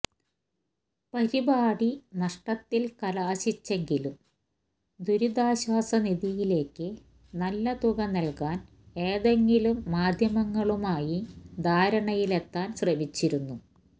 പരിപാടി നഷ്ടത്തിൽ കലാശിച്ചെങ്കിലും ദുരിതാശ്വാസ നിധിയിലേക്ക് നല്ല തുക നൽകാൻ ഏതെങ്കിലും മാധ്യമങ്ങളുമായി ധാരണയിലെത്താൻ ശ്രമിച്ചിരുന്നു